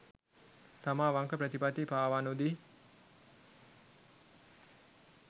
තම අවංක ප්‍රතිපත්ති පාවා නොදී